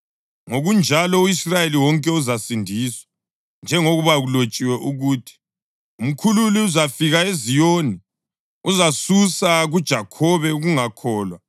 Ngokunjalo u-Israyeli wonke uzasindiswa, njengoba kulotshiwe ukuthi: “Umkhululi uzafika eZiyoni: uzasusa kuJakhobe ukungakholwa.